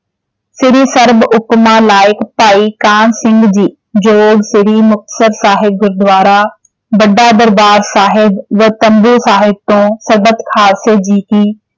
ਸ਼੍ਰੀ ਸਰਭ ਉਪਮਾ ਲਾਇਕ ਭਾਈ ਕਾਹਨ ਸਿੰਘ ਜੀ ਜੋੜ ਸ਼੍ਰੀ ਮੁਕਤਸਰ ਸਾਹਿਬ ਗੁਰਦੁਆਰਾ ਵੱਡਾ ਦਰਬਾਰ ਸਾਹਿਬ ਸਾਹਿਬ ਤੋਂ ਸਰਬੱਤ ਖਾਲਸੇ ਜੀ ਕੀ।